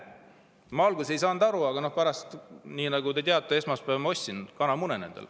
Ma alguses ei saanud aru, aga pärast, nii nagu te teate, esmaspäeval, ma ostsin nendele kanamune.